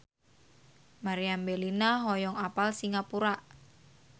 Meriam Bellina hoyong apal Singapura